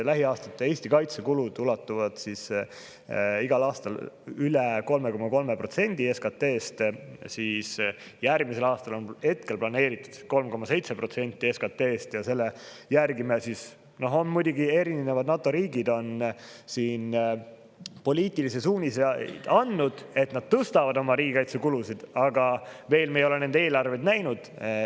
Lähiaastate Eesti kaitsekulud ulatuvad igal aastal üle 3,3% SKT‑st. Järgmiseks aastaks on hetkel planeeritud 3,7% SKT‑st. Muidugi, erinevad NATO riigid on andnud poliitilise suunise, et nad tõstavad oma riigikaitsekulusid, aga me ei ole nende eelarveid veel näinud.